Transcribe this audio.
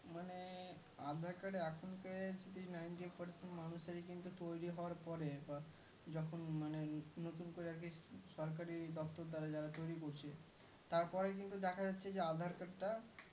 মানে aadhar card এখন এর Three nineteen fourteen মানুষের কিন্তু তৈরি হওয়ার পরে বা যখন মানে নতুন করে আরকি সরকারি দপ্তর দারা যারা তরি করছে তার পরে কিন্তু দেখা যাচ্ছে aadhar card টা